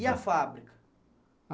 E a fábrica?